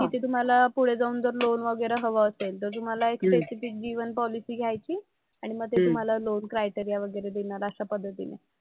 तिथे तुम्हाला पुढे जाऊन जर लोन वगैरा हवं असेल तर तुम्हाला एक त्यांची ती जीवन पॉलिसी घ्यायची आणि मग तुम्हाला ते लोन क्रायटेरिया वगैरा देणार अशा पद्धतीने.